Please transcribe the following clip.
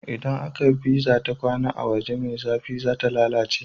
Idan aka pizza ta kwAna a waje me zafi zata lalace